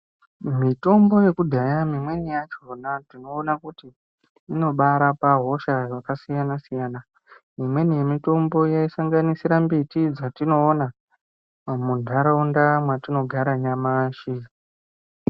Mitombo yekudhaya imweni yachona tinoona kuti inobaarapa hosha yakasiyana siyana imweni yemitombo yaisangamisira mbiti dzatinoona munharaunda dzatinogara nyamashi.